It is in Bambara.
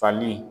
Fali